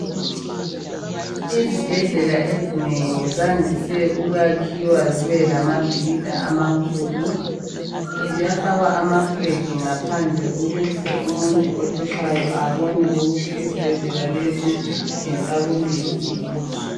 Izibhendlela ezinengi zandise ukuyakhiwa zibelamabhilida amakhulu. Ziyafakwa amafilagi ngaphandle ukuze umuntu othutshaye abone ukuthi isibhendlela lesi ngesakuliphi ilizwe.